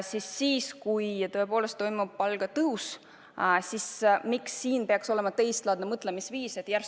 Miks siis, kui tõepoolest toimub palgatõus, peaks olema teistlaadne mõtteviis?